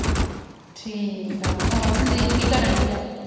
ਠੀਕ ਆ ਹੋਰ ਸੰਦੀਪ ਕੀ ਕਰਨ ਦਈ ਆ